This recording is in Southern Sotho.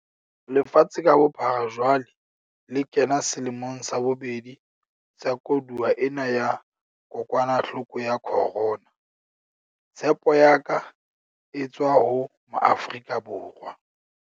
Lefatshe ka bophara jwale le kena selemong sa bobedi sa koduwa ena ya kokwanahloko ya corona. Tshepo ya ka e tswa ho Maafrika Borwa.